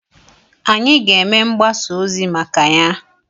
Anyị ga-eme mgbasa ozi maka ya.